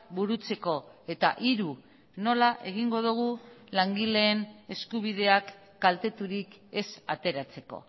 burutzeko eta hiru nola egingo dugu langileen eskubideak kalteturik ez ateratzeko